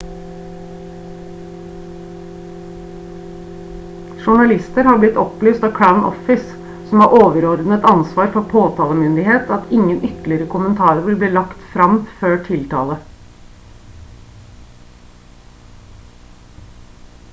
journalister har blitt opplyst av crown office som har overordnet ansvar for påtalemyndighet at ingen ytterligere kommentarer vil bli lagt frem før tiltale